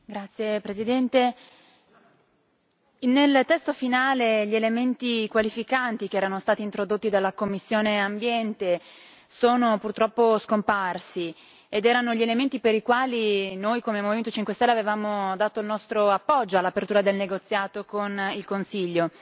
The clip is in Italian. Signor Presidente, onorevoli colleghi, nel testo finale gli elementi qualificanti che erano stati introdotti dalla commissione Ambiente sono purtroppo scomparsi, ed erano gli elementi per i quali noi, come Movimento 5 stelle, avevamo dato il nostro appoggio all'apertura del negoziato con il Consiglio.